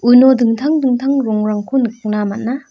uno dingtang dingtang rongrangko nikna man·a--